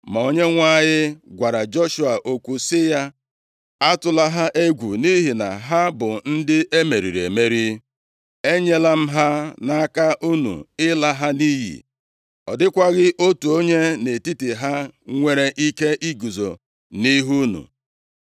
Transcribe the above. Ma Onyenwe anyị gwara Joshua okwu sị ya, “Atụla ha egwu! Nʼihi na ha bụ ndị e meriri emeri. Enyela m ha nʼaka unu ịla ha nʼiyi. Ọ dịkwaghị otu onye nʼetiti ha nwere ike iguzo nʼihu unu.”